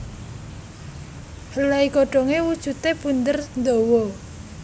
Helai godhonge wujude bunder ndawa